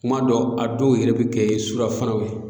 Kuma dɔ a dɔw yɛrɛ bɛ kɛ surafanaw ye